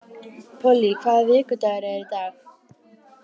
Polly, hvaða vikudagur er í dag?